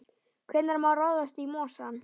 Hvenær má ráðast í mosann?